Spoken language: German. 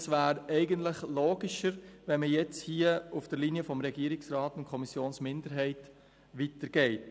Es wäre logischer, man würde sich nun auf der Linie des Regierungsrats und der Kommissionsminderheit weiterbewegen.